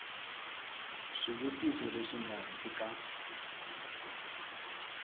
swivutiso leswi nga hansi ka